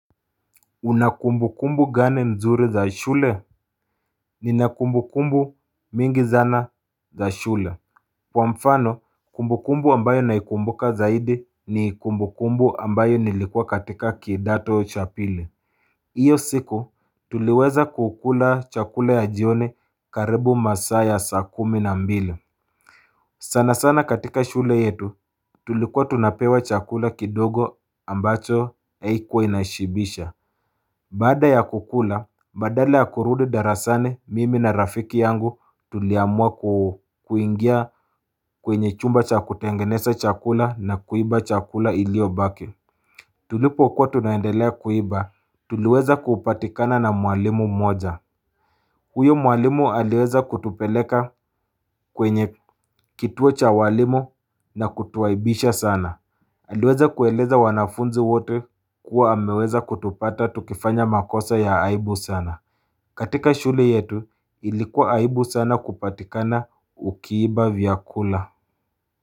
Una kumbukumbu gani mzuri za shule Nina kumbukumbu mingi zana za shule Kwa mfano kumbukumbu ambayo naikumbuka zaidi ni kumbukumbu ambayo nilikuwa katika kidato cha pili Iyo siku tuliweza kukula chakula ya jioni karibu masaa ya saa kumi na mbili sana sana katika shule yetu tulikuwa tunapewa chakula kidogo ambacho haikuwa inashibisha Baada ya kukula, badala ya kurudi darasane, mimi na rafiki yangu tuliamua kuingia kwenye chumba cha kutengeneza chakula na kuiba chakula iliyobaki. Tulipo kwa tunaendelea kuiba, tuliweza kupatikana na mwalimu moja. Huyo mwalimu aliweza kutupeleka kwenye kituo cha walimu na kutuaibisha sana. Aliweza kueleza wanafunzi wote kuwa ameweza kutupata tukifanya makosa ya aibu sana. Katika shule yetu ilikuwa aibu sana kupatikana ukiiba vyakula.